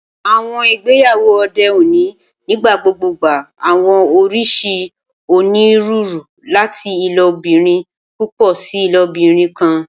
Awọn igbeyawo ode oni nigbagbogbo gba awọn oriṣi oniruuru, lati ilobirin pupọ si ilobirin kan.